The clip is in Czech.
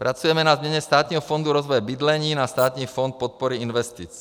Pracujeme na změně Státního fondu rozvoje bydlení na Státní fond podpory investic.